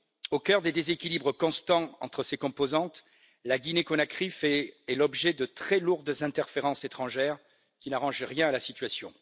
Au cœur des déséquilibres constants entre ses composantes, la Guinée Conakry fait l'objet de très lourdes interférences étrangères qui n'arrangent rien à la situation.